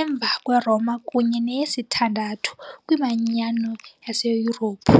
emva kweRoma kunye neyesithandathu kwiManyano yaseYurophu .